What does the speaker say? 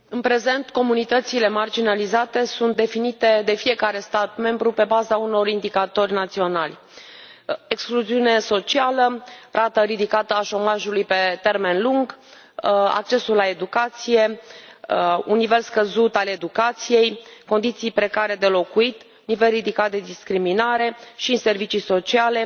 În prezent comunitățile marginalizate sunt definite de fiecare stat membru pe baza unor indicatori naționali excluziune socială, rată ridicată a șomajului pe termen lung, accesul la educație, un nivel scăzut al educației, condiții precare de locuit, nivel ridicat de discriminare și servicii sociale,